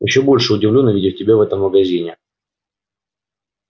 ещё больше удивлён увидев тебя в этом магазине